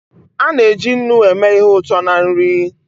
A na-eji nnu eme ihe ụtọ na nri.